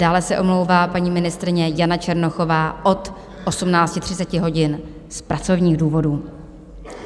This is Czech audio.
Dále se omlouvá paní ministryně Jana Černochová od 18.30 hodin z pracovních důvodů.